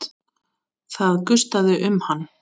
Það gustaði um hann.